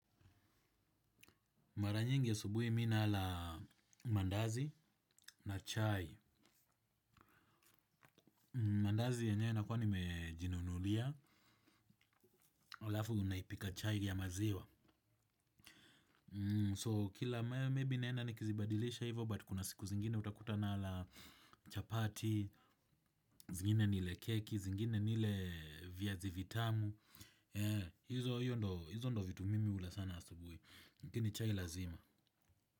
Mara nyingi asubuhi mi nala mandazi na chai. Mandazi yenywee nakuwa nimejinunulia. Halafu unaipika chai ya maziwa. So kila maybe naenda nikizibadilisha hivyo, but kuna siku zingine utakuta nala chapati, zingine nile keki, zingine nile viazi vitamu. Hizo hiyo ndo vitu mimi hula sana asubuhi. Lakini chai lazima.